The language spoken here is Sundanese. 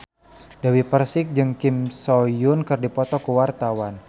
Dewi Persik jeung Kim So Hyun keur dipoto ku wartawan